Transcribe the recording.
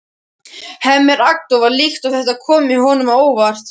Hemmi er agndofa líkt og þetta komi honum á óvart.